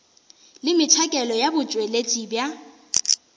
le metšhakelo ya botšweletši bja